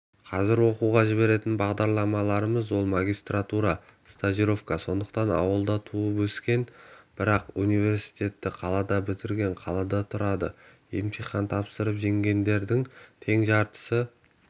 қазіргі оқуға жіберетін бағдарламаларымыз ол магистратура стажировка сондықтан ауылда туып-өскен бірақ университетті қалада бітіргендер қалада тұрады емтихан тапсырып жеңгендердің тең жартысы